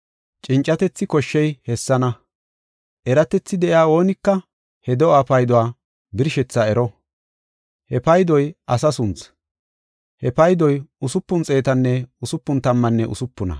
Cincatethi koshshey hessana. Eratethi de7iya oonika he do7aa payduwa birshethaa ero; he paydoy asa sunthi. He paydoy usupun xeetanne usupun tammanne usupuna.